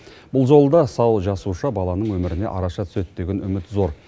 бұл жолы да сау жасуша баланың өміріне араша түседі деген үміт зор